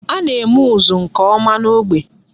A na-eme ụzụ nke ọma n'ógbè.